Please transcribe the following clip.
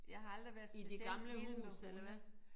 Jeg har aldrig været specielt vild med hunde